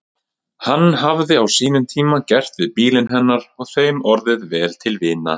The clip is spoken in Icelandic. Hann hafði á sínum tíma gert við bílinn hennar og þeim orðið vel til vina.